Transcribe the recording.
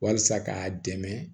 Walasa k'a dɛmɛ